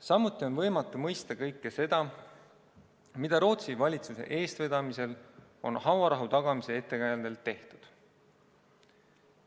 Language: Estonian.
Samuti on võimatu mõista kõike seda, mida Rootsi valitsuse eestvedamisel on hauarahu tagamise ettekäändel tehtud.